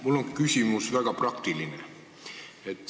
Mul on küsimus, väga praktiline.